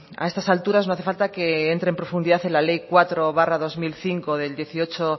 a estas alturas no hace falta que entre en profundizar en la ley cuatro barra dos mil cinco del dieciocho